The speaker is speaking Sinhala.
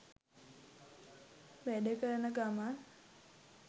වැඩ කරන ගමන්